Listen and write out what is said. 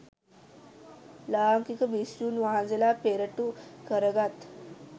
ලාංකික භික්ෂූන් වහන්සේ පෙරටු කරගත්